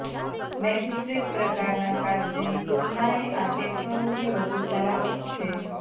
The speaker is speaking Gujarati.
મેગસ્ટ્રિપ પ્રકારના કાર્ડની તુલનાએ આ ટેકનોલોજી વધુ સલામત છે